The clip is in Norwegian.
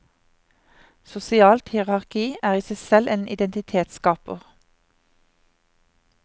Sosialt hierarki er i seg selv en identitetsskaper.